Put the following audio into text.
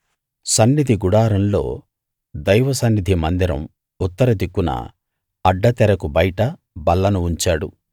సన్నిధి గుడారంలో దైవ సన్నిధి మందిరం ఉత్తర దిక్కున అడ్డతెరకు బయట బల్లను ఉంచాడు